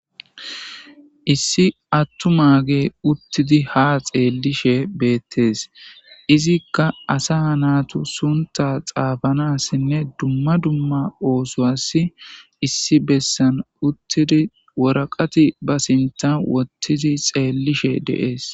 Issi attumage uttidi ha xeellishe beettees. izikka asa naatu sunta xaafanassinne dumma dumma oosowas issi bessan uttidi woraqati ba sinta wottidi xeellishe deees.